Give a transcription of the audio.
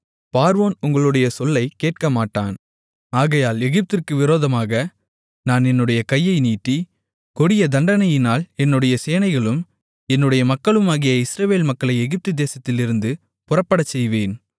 பார்வோன் உங்களுடைய சொல்லைக்கேட்கமாட்டான் ஆகையால் எகிப்திற்கு விரோதமாக நான் என்னுடைய கையை நீட்டி கொடிய தண்டனையினால் என்னுடைய சேனைகளும் என்னுடைய மக்களுமாகிய இஸ்ரவேல் மக்களை எகிப்து தேசத்திலிருந்து புறப்படச்செய்வேன்